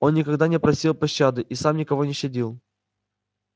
он никогда не просил пощады и сам никого не щадил